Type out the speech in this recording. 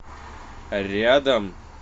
рядом